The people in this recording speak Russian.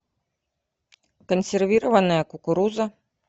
консервированная кукуруза